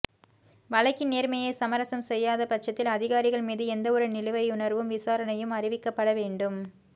வழக்கின் நேர்மையை சமரசம் செய்யாதபட்சத்தில் அதிகாரிகள் மீது எந்தவொரு நிலுவையுணர்வு விசாரணையும் அறிவிக்கப்பட வேண்டும்